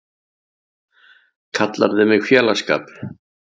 Kallarðu mig félagsskap?!